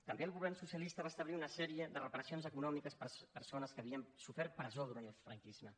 també el govern socialista va establir una sèrie de reparacions econòmiques per a persones que havien sofert presó durant el franquisme